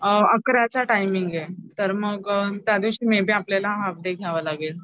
अअ आकाराचा टायमिंगे तर मग त्या दिवशी मे बी आपल्याला हाफ डे घ्यावा लागेल.